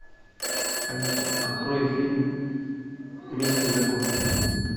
алиса открой фильм месть и закон